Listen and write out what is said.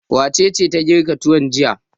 Wace ce ta girka tuwo jiya?